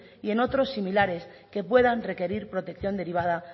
y otros similares que puedan requerir protección derivada